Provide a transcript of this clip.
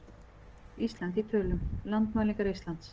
Ísland í tölum- Landmælingar Íslands.